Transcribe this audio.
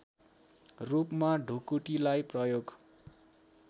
रूपमा ढुकुटीलाई प्रयोग